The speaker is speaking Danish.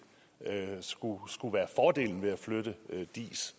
skulle skulle være fordelen ved at flytte diis